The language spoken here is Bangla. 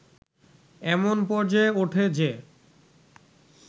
এমন পর্যায়ে ওঠে যে